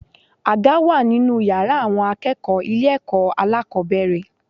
Àga wà nínú yàrá àwọn akẹ́kọ̀ọ́ ilé ẹ̀kọ́ alákòbẹ̀rẹ̀.